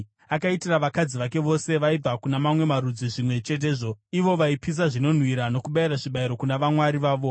Akaitira vakadzi vake vose vaibva kuna mamwe marudzi zvimwe chetezvo, ivo vaipisa zvinonhuhwira nokubayira zvibayiro kuna vamwari vavo.